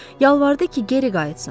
Yalvardı ki, geri qayıtsın.